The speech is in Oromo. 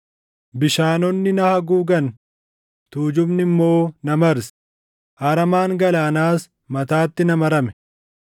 Bishaanonni na haguugan; tuujubni immoo na marse; aramaan galaanaas mataatti na marame.